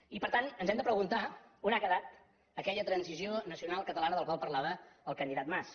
i per tant ens hem de preguntar on ha quedat aquella transició nacional catalana de la qual parlava el candidat mas